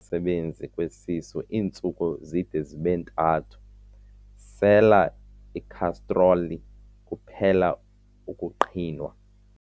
sebenzi kwesisu iintsuku zide zibe ntathu, sela ikhastroli kuphele ukuqhinwa.